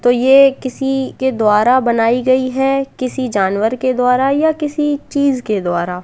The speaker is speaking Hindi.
तो ये किसी के द्वारा बनाई गई है किसी जानवर के द्वारा या किसी चीज के द्वारा --